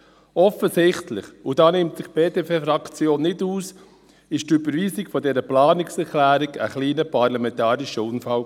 Offensichtlich – und da nimmt sich die BDP-Fraktion nicht aus – war die Überweisung dieser Planungserklärung ein kleiner parlamentarischer Unfall.